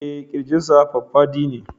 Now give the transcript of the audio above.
Eh Kirjinsa faffadi ne